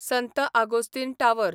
संत आगोस्तीन टावर